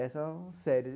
Essas são sérias.